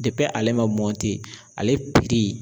ale man ale